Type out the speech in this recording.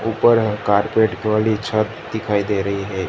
ऊपर में कारपेट वाली छत दिखाई दे रही है।